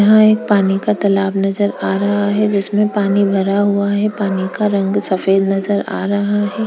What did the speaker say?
यहाँ एक पानी का तालाब नजर आ रहा है जिसमे पानी भरा हुआ है पानी का रंग सफ़ेद नजर आ रहा है।